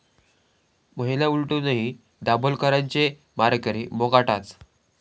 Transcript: महिना उलटूनही दाभोलकरांचे मारेकरी मोकाटाच!